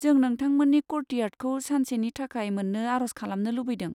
जों नोंथांमोननि क'र्टियार्दखौ सानसेनि थाखाय मोन्नो आर'ज खालामनो लुबैदों।